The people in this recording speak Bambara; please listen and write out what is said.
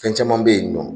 Fɛn caman bɛ yen nɔ